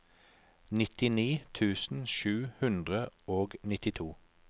nittini tusen sju hundre og nittito